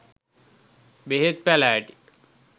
බෙහෙත් පැළෑටි